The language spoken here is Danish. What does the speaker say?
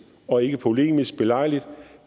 og ikke polemisk belejligt